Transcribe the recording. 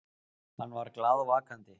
Hann var glaðvakandi.